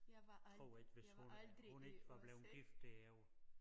Tror ikke hvis hun hun ikke var blevet gift det jo